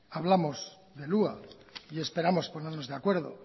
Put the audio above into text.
hablamos del hua y esperamos ponernos de acuerdo